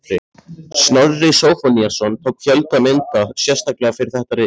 Snorri Zóphóníasson tók fjölda mynda sérstaklega fyrir þetta rit.